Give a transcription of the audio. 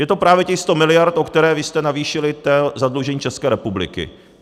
Je to právě těch 100 mld., o které vy jste navýšili zadlužení České republiky.